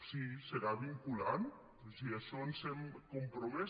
sí serà vinculant a això ens hem compromès